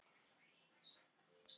Fullt hús stiga.